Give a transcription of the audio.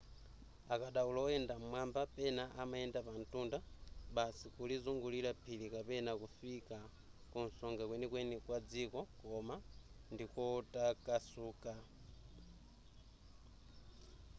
akadaulo oyenda m'mwamba pena amayenda pamtunda basi kulizungulira phiri kapena kufika kunsonga kwenikweni kwa dziko koma ndikotakasuka